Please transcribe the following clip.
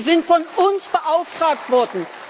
Sie sind von uns beauftragt worden.